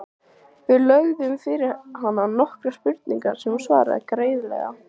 Við lögðum fyrir hana nokkrar spurningar sem hún svaraði greiðlega.